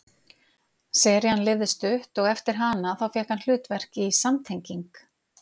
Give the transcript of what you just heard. serían lifði stutt og eftir hana þá fékk hann hlutverk í samtenging